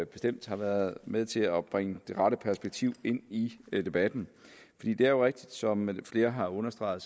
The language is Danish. bestemt har været med til at bringe det rette perspektiv ind i debatten det er jo rigtigt som flere har understreget